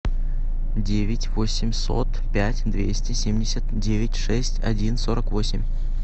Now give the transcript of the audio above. девять восемьсот пять двести семьдесят девять шесть один сорок восемь